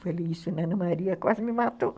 Falei isso, a Ana Maria quase me matou.